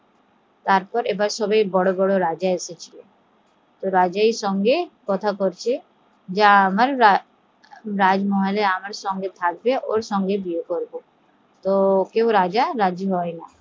তারপর এবার সবাই বড়ো বড়ো রাজা এসেছে, রাজার সঙ্গে কথা বলছে যে আমার সঙ্গে রাজমহলে থাকবে ওর সঙ্গে বিয়ে করবো, কোনো রাজা রাজি হয়না